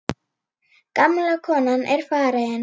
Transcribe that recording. Gamla konan er farin.